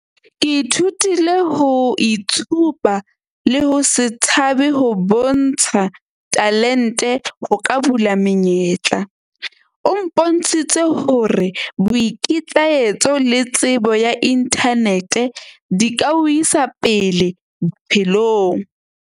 Ke ithutile ho itshupa le ho se tshabe ho bontsha talent-e ho ka bula menyetla. O mpontshitse hore boikitlahetso le tsebo ya internet-e di ka o isa pele bophelong.